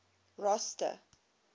rosta